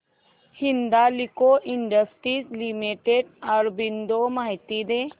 Hindalco industries limited arbitrage माहिती दे